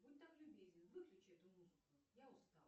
будь так любезен выключи эту музыку я устала